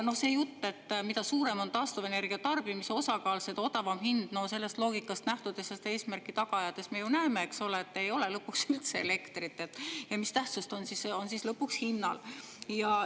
See jutt, et mida suurem on taastuvenergia tarbimise osakaal, seda odavam hind – sellest loogikast lähtudes ja seda eesmärki taga ajades me ju näeme, et ei ole lõpuks üldse elektrit ja mis tähtsust on siis lõpuks hinnal.